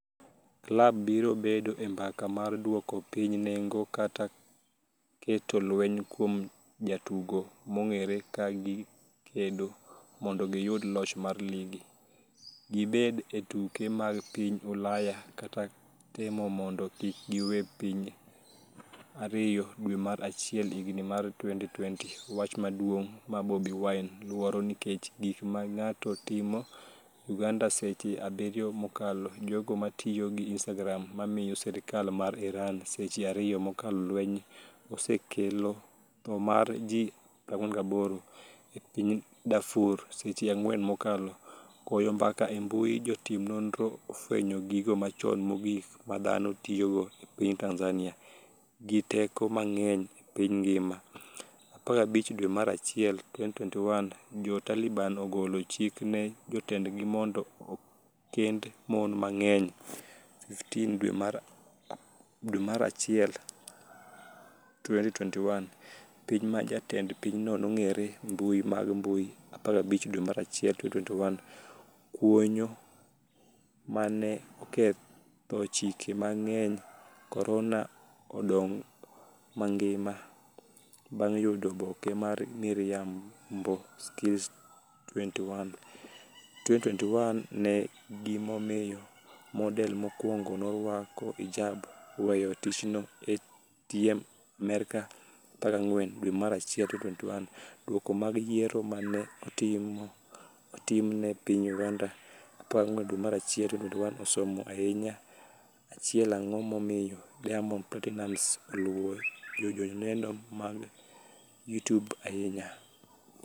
Klab biro bedo e mbaka mar duoko piny nengo kata kata keto lweny kuom jatugo mong’ere, ka gikedo mondo giyud loch mar ligi, gibed e tuke mag piny Ulaya kata kata temo mondo kik giwe piny 2 dwe mar achiel higa mar 2020 Wach maduong’ ma Bobi Wine ‘luoro nikech gik ma ng’ato timo. Uganda Seche 7 mokalo Jogo matiyo gi Instagram mamiyo sirkal mar Iran seche 2 mokalo Lweny osekelo tho mar ji 48 e piny Darfur Seche 4 mokalo Goyo mbaka e mbui Jotim nonro ofwenyo gigo machon mogik ma dhano tiyogo e piny Tanzania gi teko mang'eny e piny ngima' 15 dwe mar achiel 2021 Jo Taliban ogolo chik ne jotendgi mondo okend mon mang'eny15 dwe mar achiel 2021 Piny ma jatend pinyno nogeng'e mbui mag mbui15 dwe mar achiel 2021 Kuonyo ma 'ne oketho chike mageng' korona' odong' mangima bang' yudo oboke mar miriambo kills21. 2021 Ng'e gimomiyo model mokwongo norwako hijab â€ ?weyo tichnoâ€TM Amerka? 14 dwe mar achiel 2021 Duoko mag Yiero mane otim e piny Uganda 14 dwe mar achiel 2021 Osomo ahinya 1 Ang'o momiyo Diamond Platinumz Oluwo joneno mage mag YouTube ahinya?